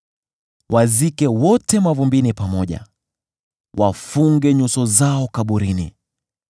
Wazike wote mavumbini pamoja; wafunge nyuso zao kaburini.